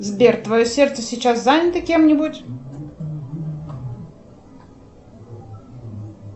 сбер твое сердце сейчас занято кем нибудь